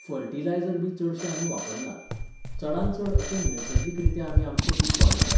फर्टिलायजरबी चडशें आमी वापरनात, चडांत चड अशें नैसर्गीकरित्या आमी आमचें पीक वाडयतात